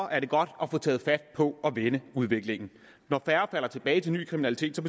er det godt at få taget fat på at vende udviklingen når færre falder tilbage til ny kriminalitet